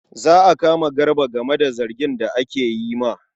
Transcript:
Za a kama Garba game da zargin da ake yi ma.